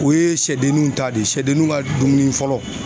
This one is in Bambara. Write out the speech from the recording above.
O ye sɛdenninw ta de ye sɛdenninw ka dumuni fɔlɔ.